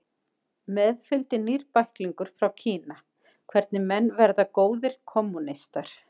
Með fylgdi nýr bæklingur frá Kína, Hvernig menn verða góðir kommúnistar